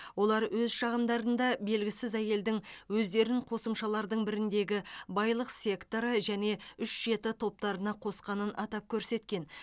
олар өз шағымдарында белгісіз әйелдің өздерін қосымшалардың біріндегі байлық секторы және үш жеті топтарына қосқанын атап көрсеткен